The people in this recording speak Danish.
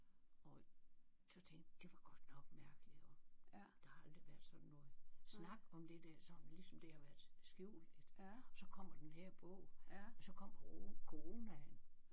Og så tænkte det var godt nok mærkeligt og der har aldrig været sådan noget snak om det der sådan ligesom det har været skjult lidt og så kommer den her bog og så kom coronaen